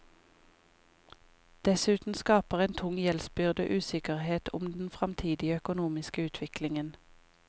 Dessuten skaper en tung gjeldsbyrde usikkerhet om den framtidige økonomiske utviklingen.